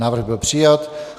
Návrh byl přijat.